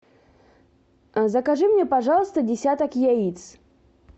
закажи мне пожалуйста десяток яиц